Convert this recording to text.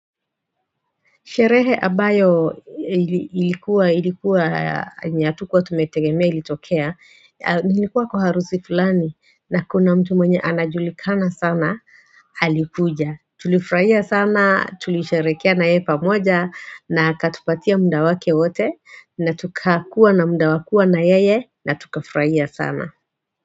Sherehe ambayo ilikuwa ilikuwa yenye hatukuwa tumetegemea ilitokea ilikuwa kwa harusi fulani na kuna mtu mwenye anajulikana sana alikuja tulifurahia sana tulisherekea na yeye pamoja na akatupatia mda wake wote na tukakuwa na mda wa kuwa na yeye na tukafurahia sana.